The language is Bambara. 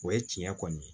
O ye tiɲɛ kɔni ye